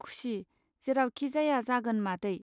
खुसि जेरावखि जाया जागोन मादै.